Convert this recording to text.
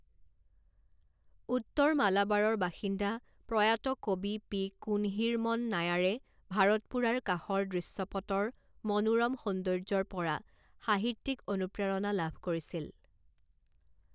উত্তৰ মালাবাৰৰ বাসিন্দা, প্ৰয়াত কবি পি কুন্হিৰমন নায়াৰে ভাৰতপুড়াৰ কাষৰ দৃশ্যপটৰ মনোৰম সৌন্দৰ্যৰ পৰা সাহিত্যিক অনুপ্ৰেৰণা লাভ কৰিছিল।